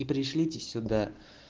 и пришлите сюда